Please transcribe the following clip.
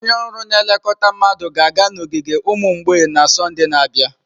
Onye ọrụ na-elekọta mmadụ ga-aga n'ogige ụmụ mgbei na Sọnde na-abịa.